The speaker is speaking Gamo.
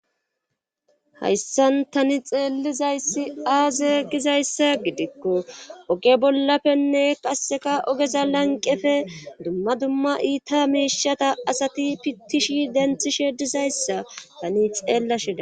Hayssan tani xeelizayssiaaze gizayssa gidikko oge bollappenne qasseka ogeza lanqefe dumma dumma iita meishata asati pittishi denthishe dizayssa tani xeella shida.